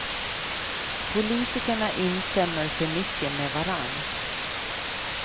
Politikerna instämmer för mycket med varandra.